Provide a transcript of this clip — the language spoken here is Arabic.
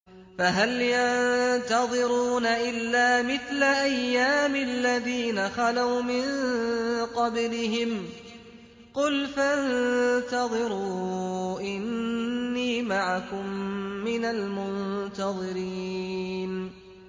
فَهَلْ يَنتَظِرُونَ إِلَّا مِثْلَ أَيَّامِ الَّذِينَ خَلَوْا مِن قَبْلِهِمْ ۚ قُلْ فَانتَظِرُوا إِنِّي مَعَكُم مِّنَ الْمُنتَظِرِينَ